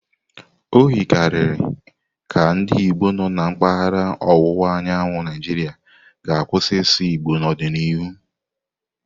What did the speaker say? O yikarịghị ka ndị Igbo nọ na mpaghara ọwụwa anyanwụ Naijiria ga-akwụsị ịsụ Igbo n'ọdịnihu.